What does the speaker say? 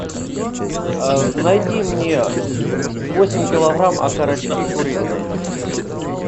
найди мне восемь килограмм окорочки куриные